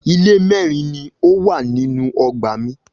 Ilé mẹ́rin ni ó wà nínú ọgbà mi.